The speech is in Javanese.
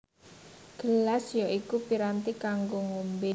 Gelas ya iku piranti kanggo ngombé